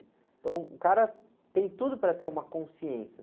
Então o cara tem tudo para ter uma consciência.